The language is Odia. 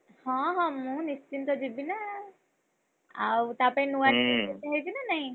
ହଁ ହଁ ମୁଁ ନିଶ୍ଚିନ୍ତ ଯିବି ନାଁ ତାପାଇଁ ନୂଆ dress କିଛି ନେବି ନା ନାଇଁ?